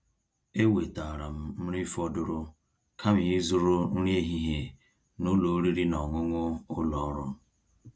èwètáara m nrí fọ̀dụ̀rụ̀ kàma ízụ̀rụ̀ nrí èhihie n'ụ́lọ̀ ọ̀rị́rị́ ná ọ̀ṅụ̀ṅụ̀ ụ́lọ̀ ọ́rụ̀.